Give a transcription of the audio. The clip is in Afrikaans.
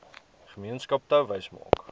gemeenskap touwys maak